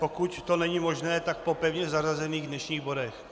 Pokud to není možné, tak po pevně zařazených dnešních bodech.